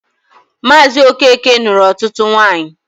Maazị Okeke nụrụ ọtụtụ nwanyị.